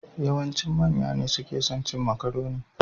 Yawancin manya ne suke son cin makarune.